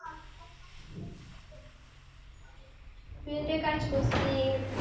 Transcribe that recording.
field এ কাজ করসি